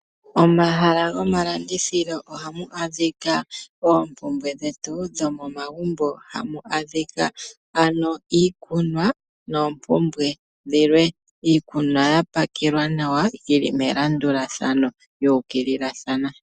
Omahala gomalandithilo ohamu adhika oompumbwe dhetu dhomomagumbo. Ohamu adhika ano iikunwa noompumbwe dhilwe. Iikunwa ohayi kala ya pakelwa nawa yili melandulathano, ano yuukililathana.